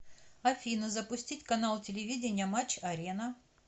афина запустить канал телевидения матч арена